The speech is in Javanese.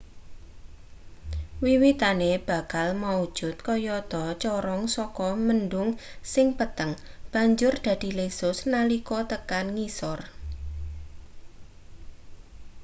wiwitane bakal maujud kayata corong saka mendhung sing peteng banjur dadi lesus nalika tekan ngisor